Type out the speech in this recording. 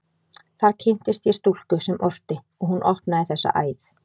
Þar kynntist ég stúlku sem orti, og hún opnaði þessa æð.